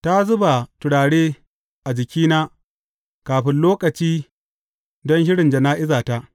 Ta zuba turare a jikina kafin lokaci, don shirin jana’izata.